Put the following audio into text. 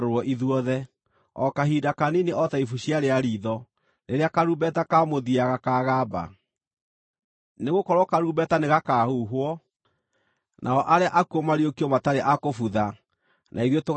o kahinda kanini, o ta ibucia rĩa riitho, rĩrĩa karumbeta ka mũthia gakaagamba. Nĩgũkorwo karumbeta nĩgakaahuhwo, nao arĩa akuũ mariũkio matarĩ a kũbutha, na ithuĩ tũgarũrwo mĩĩrĩ.